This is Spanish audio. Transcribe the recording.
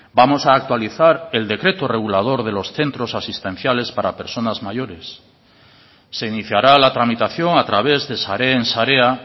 vamos a actualizar el decreto regulador de los centros asistenciales para personas mayores se iniciará la tramitación a través de sareen sarea